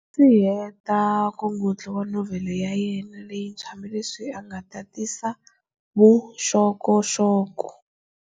A nga si heta nkongotlo wa novhele ya yena leyintshwa, hambileswi a nga tatisa vuxokoxoko.